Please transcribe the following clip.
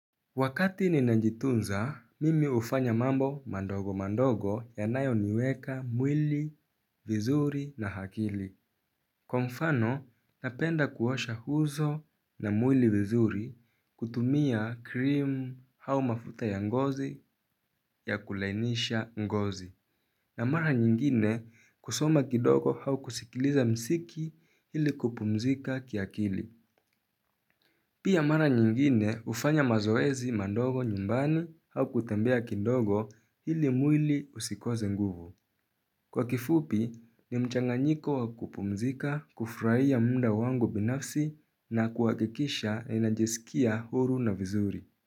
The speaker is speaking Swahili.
Wakati ninajitunza, mimi ufanya mambo mandogo mandogo yanayo niweka mwili, vizuri na hakili. Kwa mfano, napenda kuosha huzo na mwili vizuri kutumia krimu hau mafuta ya ngozi ya kulainisha ngozi. Na mara nyingine kusoma kidogo hau kusikiliza msiki hili kupumzika kiakili. Pia mara nyingine ufanya mazoezi mandogo nyumbani au kutembea kindogo hili mwili usikoze nguvu. Kwa kifupi ni mchanga nyiko wakupumzika, kufurahia mda wangu binafsi na kuwakikisha na inajesikia huru na vizuri.